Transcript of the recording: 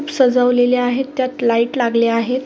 सजवलेले आहेत त्यात लाइट लागले आहेत.